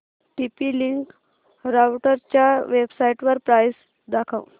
TP link राउटरच्या वेबसाइटवर price दाखव